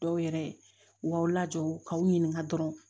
Dɔw yɛrɛ u b'aw lajɔ k'aw ɲininka dɔrɔn